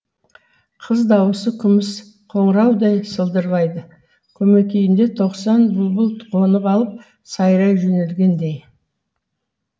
қыз даусы күміс қоңыраудай сылдырлайды көмекейінде тоқсан бұлбұл қонып алып сайрай жөнелгендей